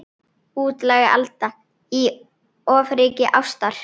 Útlæg Alda í ofríki ástar.